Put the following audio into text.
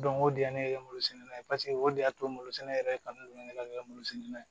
o de ye ne kɛ malo sɛnɛ ye paseke o de y'a to malo sɛnɛ yɛrɛ kanu don ne ka ne ka malo sɛnɛna